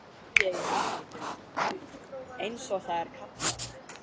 Kannski er ég í afneitun, einsog það er kallað.